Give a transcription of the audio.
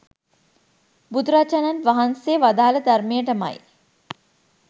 බුදුරජාණන් වහන්සේ වදාළ ධර්මයටමයි